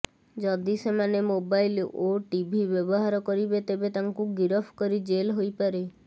ଯଦି ସେମାନେ ମୋବାଇଲ୍ ଓ ଟିଭି ବ୍ୟବହାର କରିବେ ତେବେ ତାଙ୍କୁ ଗିରଫ କରି ଜେଲ୍ ହୋଇପାରେ